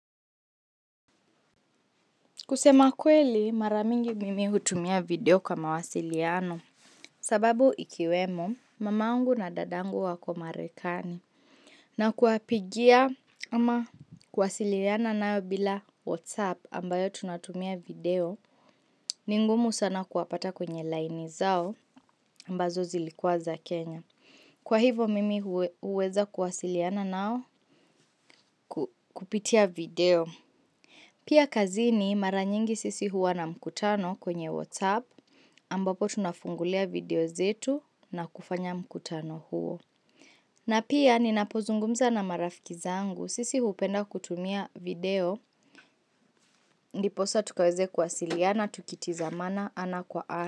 Kusema kweli mara mingi mimi hutumia video kwa mawasiliano sababu ikiwemo mamangu na dadangu wako marekani na kuwapigia ama kuwasiliana nao bila whatsapp ambayo tunatumia video ni ngumu sana kuwapata kwenye line zao ambazo zilikuwa za Kenya. Kwa hivo mimi huweza kuwasiliana nao kupitia video. Pia kazini mara nyingi sisi huwa na mkutano kwenye whatsap ambapo tunafungulia video zetu na kufanya mkutano huo. Na pia ninapozungumza na marafiki zangu sisi hupenda kutumia video ndiposa tukaweze kuwasiliana tukitazamana ana kwa ana.